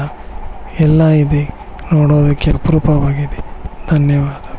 ಎಲ್ಲ ಇದೆ ನೋಡೋದಕ್ಕೆ ಅಪರೂಪವಾಗಿದೆ ಧನ್ಯವಾದ.